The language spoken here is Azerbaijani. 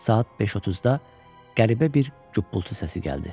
Saat 5:30-da qəribə bir qbuldu səsi gəldi.